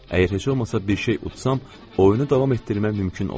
Əgər heç olmasa bir şey utsam, oyunu davam etdirmək mümkün olacaq.